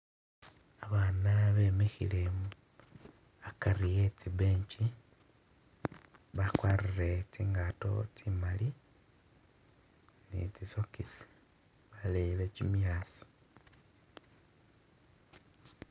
Abana bemikhile akari etsi bench bakwarire tsingato tsimali ni tsi'socks baleyile chimyasi